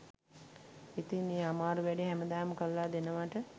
ඉතින් ඒ අමාරු වැඩේ හැමදාම කරලා දෙනවට